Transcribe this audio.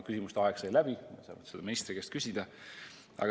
Küsimuste aeg sai läbi, oleksin tahtnud seda ministri käest küsida.